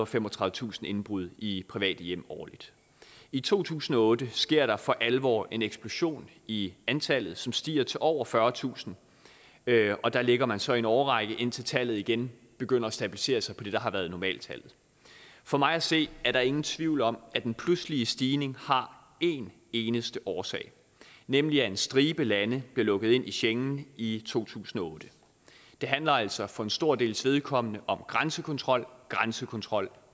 femogtredivetusind indbrud i private hjem årligt i to tusind og otte sker der for alvor en eksplosion i antallet som stiger til over fyrretusind og der ligger man så i en årrække indtil tallet igen begynder at stabilisere sig på det der har været normaltallet for mig at se er der ingen tvivl om at den pludselige stigning har en eneste årsag nemlig at en stribe lande blev lukket ind i schengen i to tusind og otte det handler altså for en stor dels vedkommende om grænsekontrol grænsekontrol